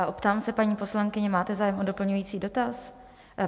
A optám se paní poslankyně, máte zájem o doplňující dotaz?